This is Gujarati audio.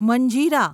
મંજીરા